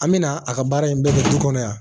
An bɛna a ka baara in bɛɛ kɛ du kɔnɔ yan